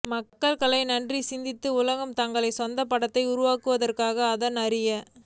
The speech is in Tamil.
மக்கள் கலை நன்றி சிந்தித்து உலக தங்கள் சொந்த படத்தை உருவாக்குவதற்கான அதன் அறிய